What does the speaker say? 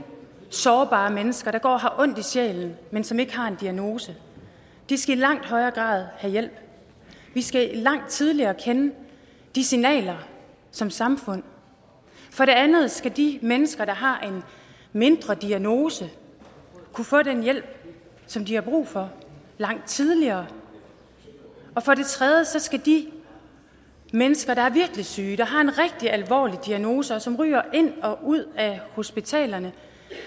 sårbare mennesker der går og har ondt i sjælen men som ikke har en diagnose de skal i langt højere grad have hjælp vi skal langt tidligere kende de signaler som samfund for det andet skal de mennesker der har en mindre diagnose kunne få den hjælp som de har brug for langt tidligere og for det tredje skal de mennesker der er virkelig syge der har en rigtig alvorlig diagnose og som ryger ind og ud af hospitalerne